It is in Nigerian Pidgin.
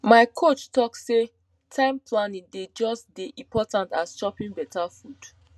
my coach talk say time planning dey just dey important as choping better food